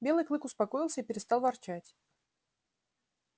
белый клык успокоился и перестал ворчать